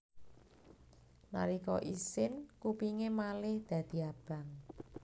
Nalika isin kupingé malih dadi abang